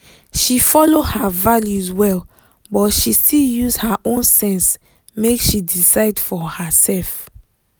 she follow her values well but she still use her own sense make she decide for herself.